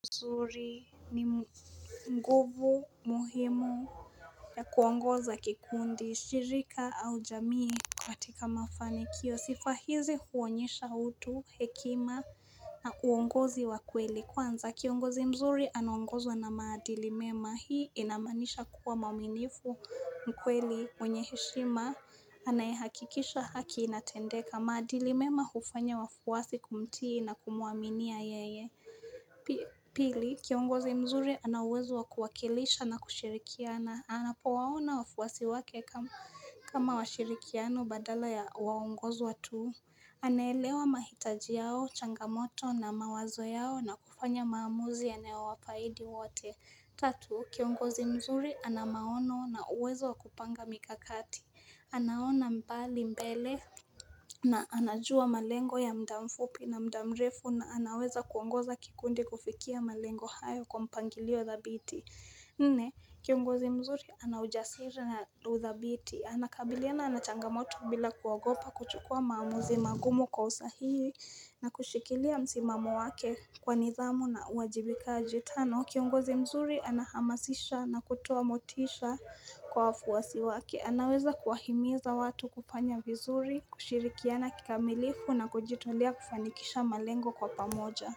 Mzuri ni nguvu muhimu ya kuongoza kikundi, shirika au jamii katika mafanikio sifa hizi huonyesha utu, hekima na uongozi wa kweli Kwanza kiongozi mzuri anaongozwa na maadili mema Hii inamaanisha kuwa mauminifu mkweli mwenye heshima Anayehakikisha haki inatendeka maadili mema hufanya wafuwasi kumtii na kumwaminia yeye Pili, kiongozi mzuri ana uwezo wa kuwakilisha na kushirikiana anapo waona wafuwasi wake kama washirikiano badala ya waongozwa tu anaelewa mahitaji yao, changamoto na mawazo yao na kufanya maamuzi yanayowafahidi wote Tatu, kiongozi mzuri ana maono na uwezo wakupanga mikakati anaona mbali mbele na anajua malengo ya muda mfupi na muda mrefu na anaweza kuongoza kikundi kufikia malengo hayo kwa mpangilio dhabiti Nne, kiongozi mzuri ana ujasiri na udhabiti ana kabiliana na changamoto bila kuogopa kuchukua maamuzi magumu kwa usahii na kushikilia msimamo wake kwa nidhamu na uajibikaji tano Kiongozi mzuri anahamasisha na kutoa motisha kwa wafuwasi wake anaweza kuahimiza watu kufanya vizuri kushirikiana kikamilifu na kujitolea kufanikisha malengo kwa pamoja.